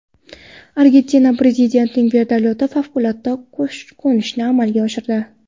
Argentina prezidentining vertolyoti favqulodda qo‘nishni amalga oshirdi.